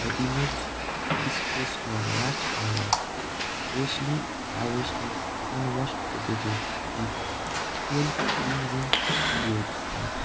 the image displays a large pile of freshly harvested unwashed potato with soil cleansing to their skins.